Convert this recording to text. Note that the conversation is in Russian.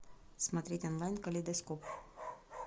смотреть онлайн калейдоскоп